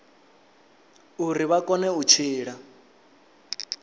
uri vha kone u tshila